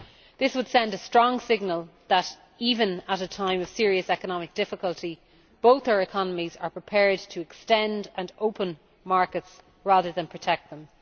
This would send a strong signal that, even at a time of serious economic difficulty, both our economies are prepared to extend and open markets rather than protect them.